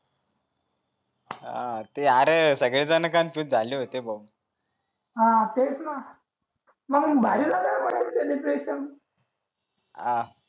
अरे सगळे जन कन्फ्युज झाले होते भाऊ ह तेच न म्हणून भरीन करायला पाहिजे होते सेलेब्रेशन हा